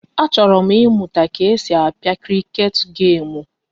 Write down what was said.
Achọrọ m ịmụta ka e si a pịa kriket gemu